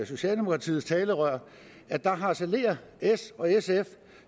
socialdemokratiets talerør harcelerer s og sf